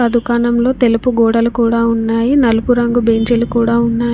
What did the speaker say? ఆ దుకాణంలో తెలుపు గోడలు కూడా ఉన్నాయి నలుపు రంగు బెంచీలు కూడా ఉన్నాయి.